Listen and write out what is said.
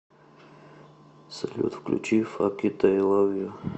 салют включи фак ит ай лав ю